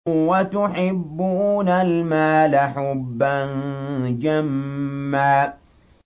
وَتُحِبُّونَ الْمَالَ حُبًّا جَمًّا